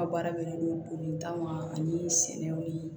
Ka baara bɛnnen don bolita ma ani sɛnɛw ni